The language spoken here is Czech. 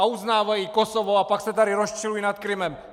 A uznávají Kosovo a pak se tu rozčilují nad Krymem.